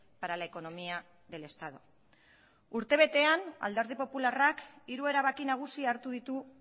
para la economía del estado urte betean alderdi popularrak hiru erabaki nagusi hartu ditu